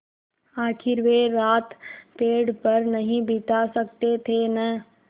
आखिर वे रात पेड़ पर नहीं बिता सकते थे न